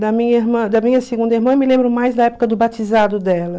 Da minha irmã, da minha segunda irmã eu me lembro mais da época do batizado dela.